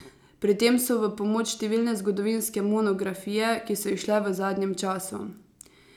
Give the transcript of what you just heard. Pri tem so v pomoč številne zgodovinske monografije, ki so izšle v zadnjem času.